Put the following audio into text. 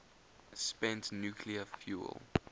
spent nuclear fuel